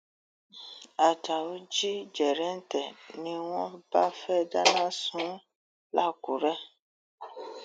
ajáò jí jẹrẹǹtẹ ni wọn bá fẹẹ dáná sun ún làkùrẹ